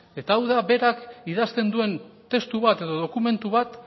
eta hau da berak idazten duen testu bat edo dokumentu bat